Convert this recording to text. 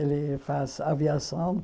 Ele faz aviação.